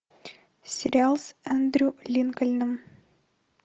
сериал с эндрю линкольном